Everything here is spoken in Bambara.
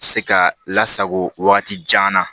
Se ka lasago wagati jan na